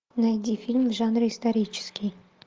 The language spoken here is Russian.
найди фильм в жанре исторический